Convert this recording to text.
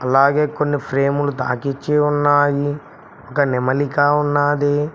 అలాగే కొన్ని ఫ్రేములు తాకిచ్చి ఉన్నాయి ఒక నెమలికా ఉన్నాది.